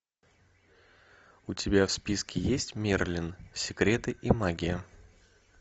у тебя в списке есть мерлин секреты и магия